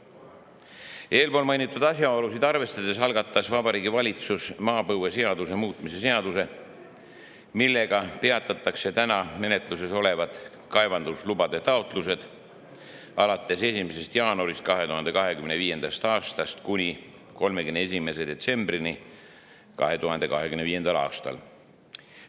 Selleks, et arvestada eelpool mainitud asjaoludega, algatas Vabariigi Valitsus maapõueseaduse seaduse, millega peatatakse praegu menetluses olevad kaevandamislubade taotlused alates 1. jaanuarist 2025. aastast kuni 31. detsembrini 2025. aastal.